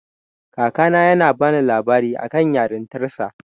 Kakana yana bani labarin akan yarintarsa.